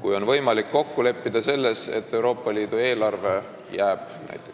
Kui on võimalik kokku leppida selles, et Euroopa Liidu eelarve jääb